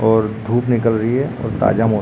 और धूप निकल रही है और ताजा मौसम --